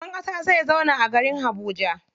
Shugaban ƙasa zai zauna a garin Habuja.